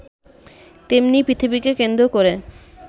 তেমনি পৃথিবীকে কেন্দ্র করে